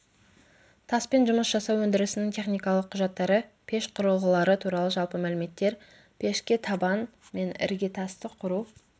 таспен жұмыс жасау өндірісінің техникалық құжаттары пеш құрылғылары туралы жалпы мәліметтер пешке табан мен іргетасты құру